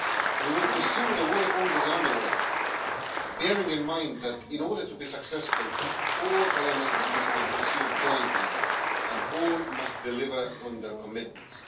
We will pursue the work already underway, bearing in mind that, in order to be successful, all elements must be pursued jointly and all must deliver on their commitments.